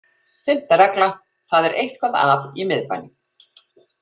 Fimmta regla: Það er eitthvað að í miðbænum.